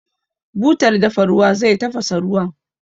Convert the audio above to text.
Butar dafa ruwa zai tafasa ruwan.